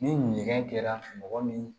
Ni ɲɛgɛn kɛra mɔgɔ min